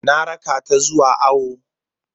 Ina raka ta zuwa awo.